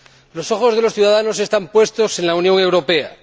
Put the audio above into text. Los ojos de los ciudadanos están puestos en la Unión Europea